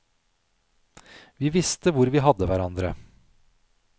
Vi visste hvor vi hadde hverandre.